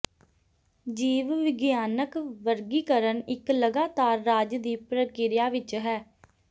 ਜੀਵ ਵਿਗਿਆਨਕ ਵਰਗੀਕਰਨ ਇੱਕ ਲਗਾਤਾਰ ਰਾਜ ਦੀ ਪ੍ਰਕਿਰਿਆ ਵਿੱਚ ਹੈ